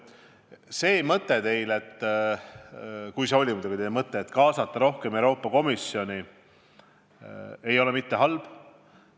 See teie mõte – kui see muidugi oli teie mõte –, et kaasataks rohkem Euroopa Komisjoni, ei ole halb.